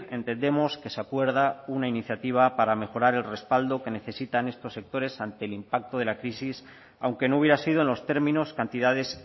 entendemos que se acuerda una iniciativa para mejorar el respaldo que necesitan estos sectores ante el impacto de la crisis aunque no hubiera sido en los términos cantidades